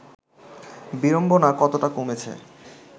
বিড়ম্বনা কতটা কমেছে